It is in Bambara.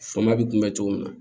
Fama bɛ kunbɛn cogo min na